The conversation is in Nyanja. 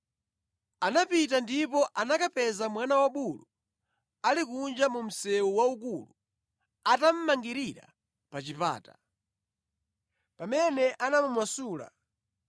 Anapita ndipo anakapeza mwana wabulu ali kunja mu msewu waukulu atamumangirira pa chipata. Pamene anamumasula,